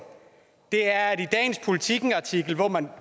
er at i dagens politikenartikel hvor man